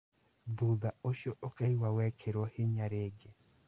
Thutha ũcio ukaigwa wekĩrwo hinya rĩngĩ